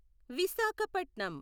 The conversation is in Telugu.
విశాఖపట్నం